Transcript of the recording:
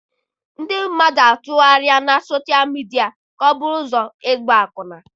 Ndị mmadụ atụgharịala soshal midia ka ọ bụrụ ụzọ ịgba akwụna.